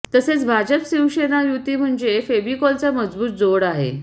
तसेच भाजप शिवसेना युती म्हणजे फेव्हिकॉलचा मजबूत जोड आहे